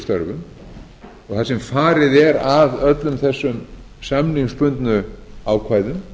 og þar sem farið er að öllum þessum samningsbundnu ákvæðum